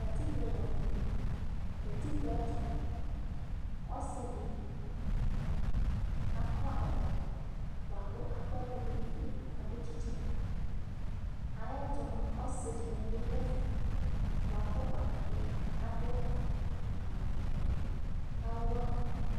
katikpo lantɛ katikpoɛto moa ɔse di akɔ ɛkɔtɔ boa ko akɔ ɛkò do n'iyo k'ado tsitsi ayɛto moa ɔse dini bi do ɛfɛ boa kò ɔtabi ado awu vɛ k'awa